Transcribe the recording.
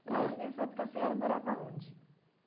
E aí, nessa época, a senhora morava onde?